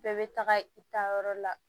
Bɛɛ bɛ taga i taayɔrɔ la